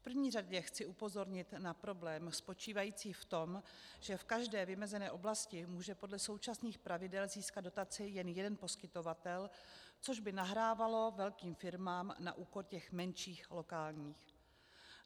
V první řadě chci upozornit na problém spočívající v tom, že v každé vymezené oblasti může podle současných pravidel získat dotaci jen jeden poskytovatel, což by nahrávalo velkým firmám na úkor těch menších, lokálních.